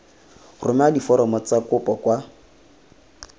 romela diforomo tsa kopo kwa